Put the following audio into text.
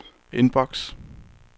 inbox